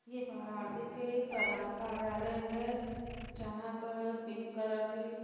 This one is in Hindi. ये वाराणसी के प्रधान कार्यालय है जहाँ पर पिंक कलर की--